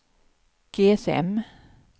GSM